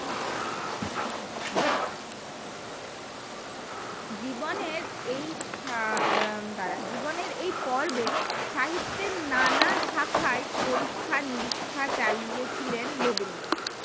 জীবনের এই এ এ দ্বারা জীবনের এই পর্বে সাহিত্যের নানা শাখায় পরীক্ষা নিরীক্ষা চালিয়েছিলেন রবীন্দ্রনাথ